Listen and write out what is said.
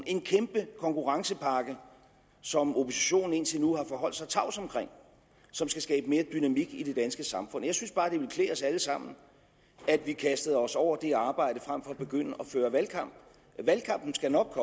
en kæmpe konkurrencepakke som oppositionen indtil nu har forholdt sig tavs om og som skal skabe mere dynamik i det danske samfund jeg synes bare at det ville klæde os alle sammen at vi kastede os over det arbejde frem for at begynde at føre valgkamp valgkampen skal nok